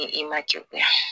E ma ci o tɛ a